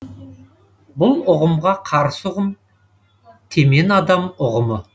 бұл ұғымға қарсы ұғым темен адам ұғымы